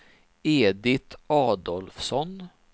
Edit Adolfsson